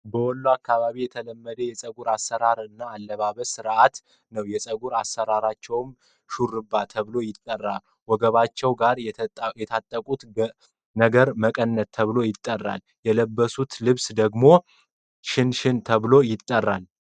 በወሎ አካባቢ የተለመደ የፀጉር አሰራር እና አለባበስ ስነስረአት ነው የፀጉር አሰራራቸውም ሾርባ ተብሎ ይጠራል። ወገባቸው ጋር የታጠቁት ነገርም መቀነ ተብሎ ይጠራል። የለበሱት ልብስ ደግሞ ሽን ሽን ተብሎ ይጠራል።